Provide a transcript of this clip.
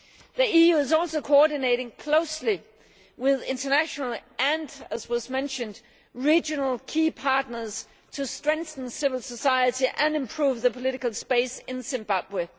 The EU is also coordinating closely with international and, as was mentioned, regional key partners to strengthen civil society and improve the political space in Zimbabwe.